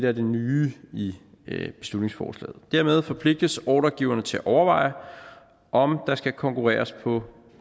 er det nye i beslutningsforslaget dermed forpligtes ordregiverne til at overveje om der skal konkurreres på